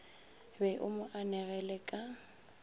be o mo anegele ka